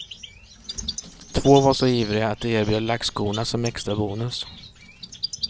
Två var så ivriga att de erbjöd lackskorna som extrabonus.